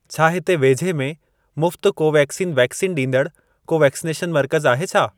छा हिते वेझे में मुफ़्त कोवेक्सीन वैक्सीन ॾींदड़ को वैक्सनेशन मर्कज़ आहे छा?